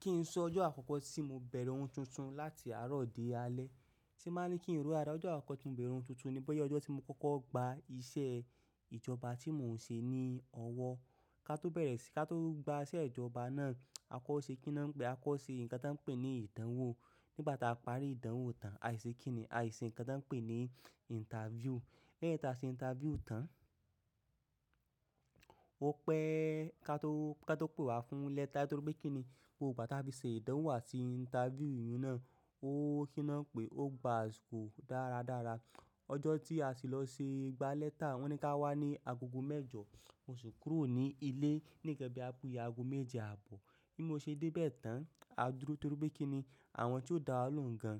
Kí n sọ ọjọ́ àkọ́kọ́ tí mo bẹ̀rẹ̀ ohun tuntun láti àárọ̀ dé alẹ́, tí máa ń kí n ró àrá, ọjọ́ àkọ́kọ́ tí mo bẹ̀rẹ̀ ohun tuntun ni báyìí ọjọ́ tí mo kọ́kọ́ gba iṣẹ́ ìjọba tí mò ń ṣe ní ọwọ́. Ká tó bẹ̀rẹ̀ sí i, ká tó gba iṣẹ́ ìjọba náà, a kọ́ ṣe kí ni wọ́n ń pè é, a kọ́ ṣe ǹkan tí wọ́n ń pè ní ìdánwò. Nígbà tí a parí ìdánwò tán, àìsí kí ni, àìsí ǹkan tí wọ́n ń pè ní interview. Lẹ́yìn tí a ṣe interview tán, ó pẹ́ ká tó, ká tó pè wá fún lẹ́tà torí pé kí ni, gbogbo ìgbà tí a fi ṣe ìdánwò àti interview yìí náà ó kíná pé ó gba àsìkò dáradára. Ọjọ́ tí a sì lọ ṣe gba lẹ́tà, wọ́n ní ká wá ní agogo mẹ́jọ. Mo sì kúrò ní ilé ní nkan bí àbí ago méje àbọ̀. Bí mo ṣe dé bẹ́ẹ̀ tán, a dúró torí pé kí ni àwọn tí ó dá wa ló ń gan,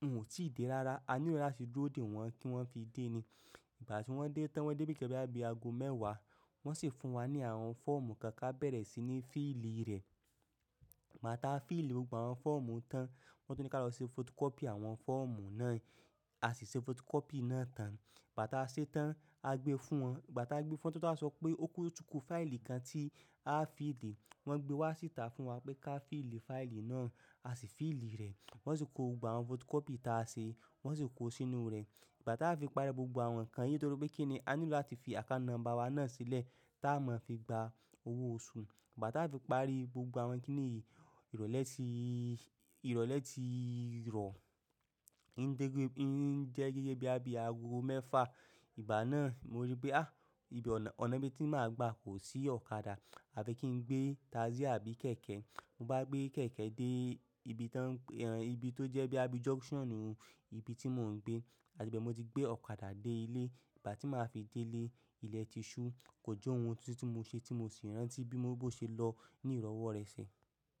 wọn ò tí ì dé rára. A nílò láti dúró dè wọ́n kí wọ́n fi dé ni. Ìgbà tí wọ́n dé tán, wọ́n dé ní ìgbà bí àbí ago mẹ́wàá. Wọ́n sì fún wa ní àwọn fọ́ọ̀mù kan ká bẹ̀rẹ̀ síi ní fíìlì rẹ̀. Gbàá tá fíìlì gbogbo àwọn fọ́ọ̀mù tán, wọ́n tún ní ká lọ ṣe fotokọ́pì àwọn fọ́ọ̀mù náà. A sì ṣe fotukọ́pì náà tán. Igbá tí a ṣe tán, a gbé fún wọn. Igbá tí a gbé fún wọn to tun sọ pé ó tún kú fáìlì kan tí á fi li. Wọn gbé wá sí ìta fún wa pé ká fíìlì fáìlì náà. A si fiili re won si ko gbogbo àwọn photocopy ti a se won si ko sínú re. Ìgbà tí a fi parí gbogbo àwọn nǹkan yìí torí pé kí ni a nílò láti fi àká nọ́mbà wa náà sílẹ̀ tá a máa fi gba owó oṣù. Ìgbà ta fi parí gbogbo àwọn kinni yìí ìrọ̀lẹ́ tii ro. Ǹ jẹ́ gẹ́gẹ́ bí àbí ago mẹ́fà. Ìgbà náà mo rí pé à, ibi ọ̀nà bí tí màá gba kò sí ọ̀kadà. À fi kí n gbé taxí àbí kẹ̀kẹ́. Mo bá gbé kẹ̀kẹ́ dé ibi tá ń pè, ibi tó jẹ́ bí á bí junction, ibi tí mò ń gbé. Àti bẹ́ẹ̀ mo ti gbé ọ̀kadà dé ilé. Ìgbà tí màá fi dé ilé, ilẹ̀ ti ṣú. Kò jẹ́ ohun tuntun tí mò ń ṣe tí mò sì rántí bí mo bó ṣe lọ ní ìrọ̀wọ́ rẹ̀ ṣẹ̀.